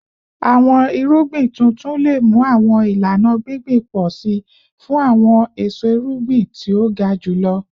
Awọn irugbin tuntun le mu awọn ilana gbingbin pọ si fun awọn eso irugbin ti o ga julọ